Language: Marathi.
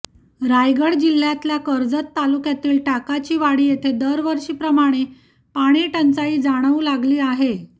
रायगड जिल्ह्यातल्या कर्जत तालुक्यातील टाकाचीवाडी येथे दरवर्षी प्रमाणे पाणीटंचाई जाणवू लागली आहे